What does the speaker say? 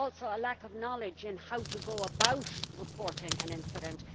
a lack of knowledge on how to go about reporting an incident